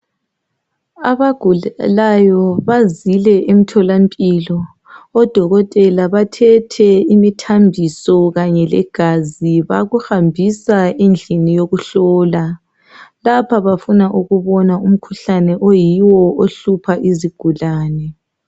Abagulayo bazile emtholampilo odokotela bathethe imithambiso kanye legazi bakuhambisa endlini yokuhlola. Lapha bafuna ukubona umkhuhlane oyiwo ohlupha izigulane.